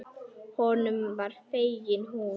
Honum var fengin hún.